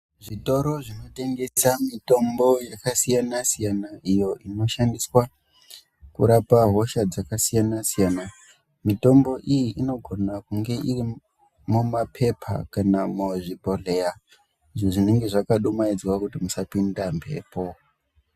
Zvitoro zvinotengesa mitombo yakasiyana-siyana iyo inoshandiswa kurapa hosha dzakasiyana-siyana, mitombo iyi inogona kunge irimumaphepha kana muzvibhodhleya zvinenge zvakadumaidzwa kuti musapinda mhepo.